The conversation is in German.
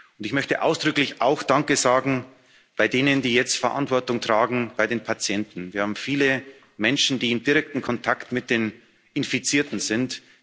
Und ich möchte ausdrücklich auch danke sagen bei denen, die jetzt Verantwortung für die Patienten tragen. Wir haben viele Menschen, die im direkten Kontakt mit den Infizierten sind